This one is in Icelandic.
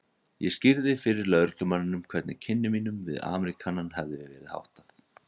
Ég skýrði fyrir lögreglumanninum hvernig kynnum mínum við Ameríkanann hefði verið háttað.